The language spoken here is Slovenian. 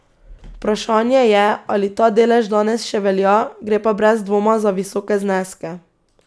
Vprašanje je, ali ta delež danes še velja, gre pa brez dvoma za visoke zneske.